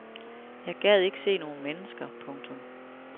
Jeg gad ikke se nogle mennesker. punktum